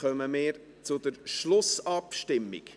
Dann kommen wir zur Schlussabstimmung.